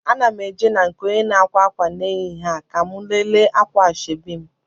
Ana m eje na nke onye na-akwa akwa n'ehihie a ka mụ lele akwa ashebi m